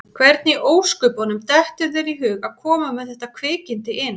Hvernig í ósköpunum dettur þér í hug að koma með þetta kvikindi inn?